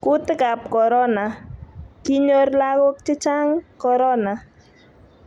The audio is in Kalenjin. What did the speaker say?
kuutikab korona:kinyor lagok che chang korona.